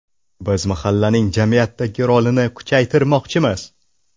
Biz mahallaning jamiyatdagi rolini kuchaytirmoqchimiz.